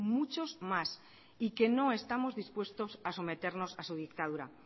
muchos más y que no estamos dispuestos a someternos a su dictadura